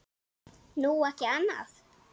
Nú, ekki annað.